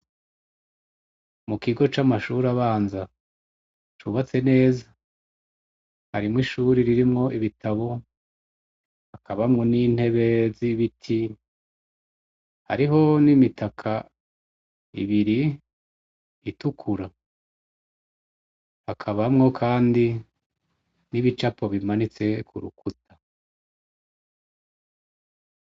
Mu kigo c' amashur' abanza cubatse neza harimw' ishure ririmw' ibitabo hakabamwo n' intebe z' ibiti, hariho n' imitak' ibir' itukura hakabamwo kandi n' ibicapo bimanitse kurukuta.